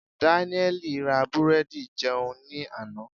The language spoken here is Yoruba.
Danieli ra búrẹ́dì jẹun ní àná.